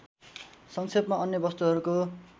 संक्षेपमा अन्य वस्तुहरूको